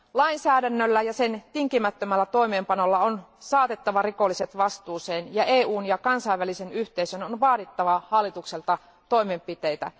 Lainsäädännöllä ja sen tinkimättömällä toimeenpanolla on saatettava rikolliset vastuuseen, ja EUn ja kansainvälisen yhteisön on vaadittava hallitukselta toimenpiteitä.